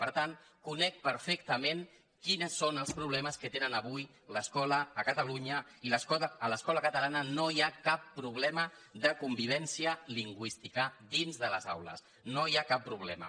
per tant conec perfectament quins són els problemes que té avui l’escola a catalunya i a l’escola catalana no hi ha cap problema de convivència lingüística dins de les aules no hi ha cap problema